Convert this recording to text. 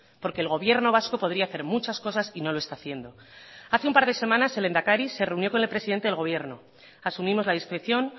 porque el gobierno vasco podría hacer muchas cosas y no lo está haciendo hace un par de semanas el lehendakari se reunió con el presidente del gobierno asumimos la discreción